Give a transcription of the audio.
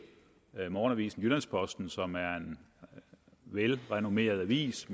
med hensyn til morgenavisen jyllands posten som er en velrenommeret avis